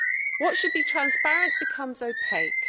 What should be transparent becomes opaque.